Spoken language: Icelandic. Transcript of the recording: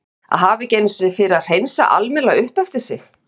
Að hafa ekki einu sinni fyrir að hreinsa almennilega upp eftir sig.